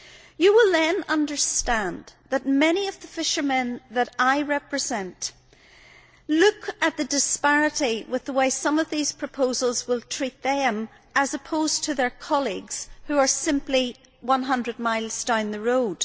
You will then understand that many of the fishermen that I represent look at the disparity in the way some of these proposals will treat them as opposed to their colleagues, who are simply 100 miles down the road.